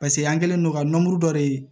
Paseke an kɛlen don ka dɔ de ye